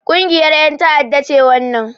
Ƙungiyar ƴan ta'adda ce wannan